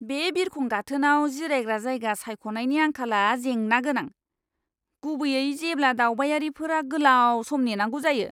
बे बिरखं गाथोनाव जिरायग्रा जायगा सायख'नायनि आंखालआ जेंना गोनां, गुबैयै जेब्ला दावबायारिफोरा गोलाव सम नेनांगौ जायो!